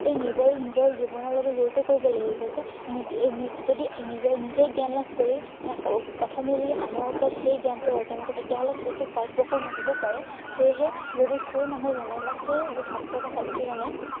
এই নিজৰ, নিজৰ জীৱনৰ লগত জড়িত কৰিব লাগিব যে, নিজে যদি নিজে~নিজেই জ্ঞান লাভ কৰি আহ হম প্ৰথমে যদি আনৰ ওপৰত সেই জ্ঞানটো অৰ্জন কৰে তেতিয়া হলে সেইটো ফলপ্ৰসু নহবও পাৰে। সেয়েহে যদি সেই মানুহজনে বা সেই ছাত্ৰ বা ছাত্ৰীজনে